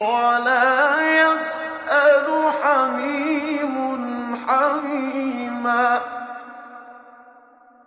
وَلَا يَسْأَلُ حَمِيمٌ حَمِيمًا